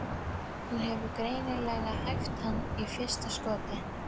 Hún hefur greinilega hæft hann í fyrsta skoti.